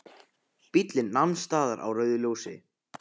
Bíllinn nam staðar á rauðu ljósi.